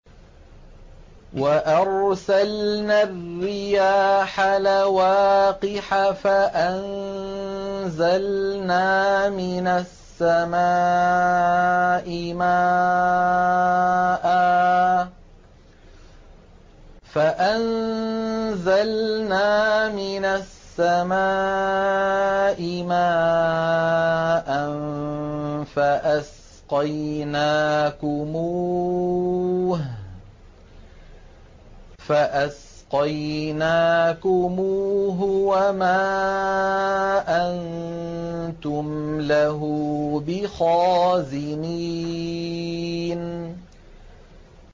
وَأَرْسَلْنَا الرِّيَاحَ لَوَاقِحَ فَأَنزَلْنَا مِنَ السَّمَاءِ مَاءً فَأَسْقَيْنَاكُمُوهُ وَمَا أَنتُمْ لَهُ بِخَازِنِينَ